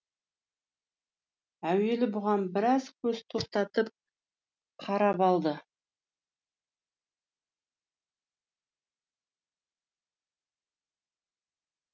әуелі бұған біраз көз тоқтатып қарап алды